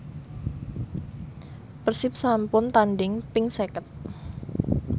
Persib sampun tandhing ping seket